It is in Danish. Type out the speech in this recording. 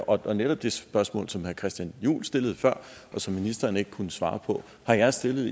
og netop det spørgsmål som herre christian juhl stillede før og som ministeren ikke kunne svare på har jeg stillet